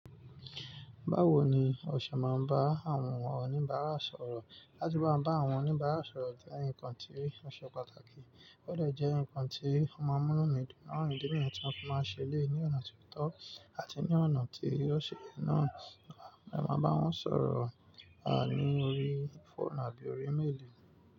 Báwo ni o ṣe máa ń bá àwọn oníbàárà sọ̀rọ̀? Látí bá bá àwọn oníbàárà sọ̀rọ̀ jẹ́ nǹkan tí ó ṣe pàtàkì, ó de jẹ́ nǹkan tí ó máa ń múnu mi dun na ìdí niyen tí a máa ń ṣe lé ní ọ̀nà tí ó tọ́ àti ní ọ̀nà tí ó ṣe náà. A máa bá wọn sọ̀rọ̀ ní orí fóònù àbí orí méèlì.